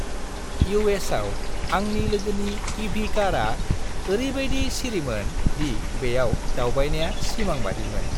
U. S. आव आंनि लोगोनि इ. भि. कारआ ओरैबायदि सिरिमोन दि बेयाव दावबायनाया सिमांबादिमोन।